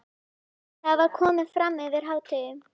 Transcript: Það var komið fram yfir hádegi.